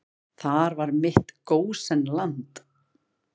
Þar var mitt gósenland.